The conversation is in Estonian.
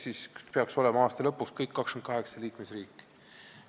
Aasta lõpuks peaks siis kõik 28 liikmesriiki olema seda teinud.